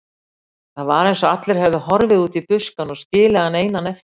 Það var eins og allir hefðu horfið út í buskann og skilið hann einan eftir.